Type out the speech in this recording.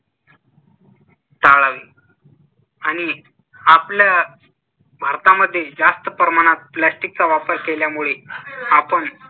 टाळावे आणि आपल्या भारतामध्ये जास्त प्रमाणात plastic चा वापर केल्यामुळे आपण